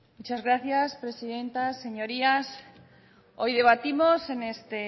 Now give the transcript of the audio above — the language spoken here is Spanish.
muchas gracias presidenta señorías hoy debatimos en este